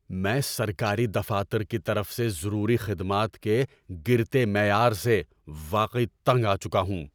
میں سرکاری دفاتر کی طرف سے ضروری خدمات کے گرتے معیار سے واقعی تنگ آ چکا ہوں۔